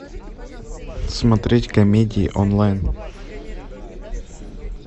смотреть комедии онлайн